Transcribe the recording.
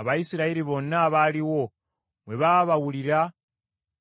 Abayisirayiri bonna abaaliwo bwe baabawulira